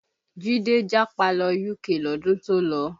Jide japa lọ UK lọ́dún tó lọ